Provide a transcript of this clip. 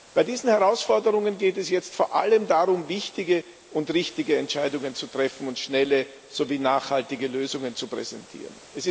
Bei diesen Herausforderungen geht es jetzt vor allem darum, wichtige und richtige Entscheidungen zu treffen und schnelle sowie nachhaltige Lösungen zu präsentieren.